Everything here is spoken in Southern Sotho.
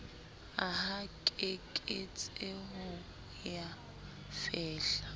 aha keketseho ya ho fehla